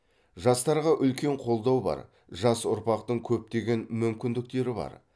жастарға үлкен қолдау бар жас ұрпақтың көптеген мүмкіндіктері бар